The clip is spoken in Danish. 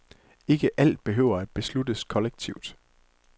Ikke alt behøver at besluttes kollektivt.